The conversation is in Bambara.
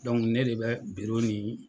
ne de bɛ biro ni